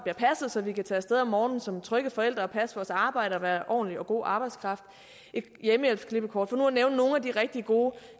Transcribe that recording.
så vi kan tage af sted om morgenen som trygge forældre og passe vores arbejde og være ordentlig og god arbejdskraft og et hjemmehjælpsklippekort for nu at nævne nogle af de rigtig gode